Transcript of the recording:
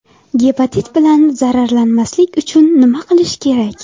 Gepatit bilan zararlanmaslik uchun nima qilish kerak?